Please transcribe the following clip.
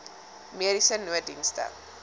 mediese nooddienste